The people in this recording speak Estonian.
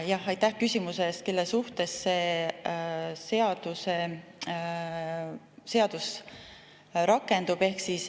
Praegu me räägime, kelle suhtes see seadus rakendub.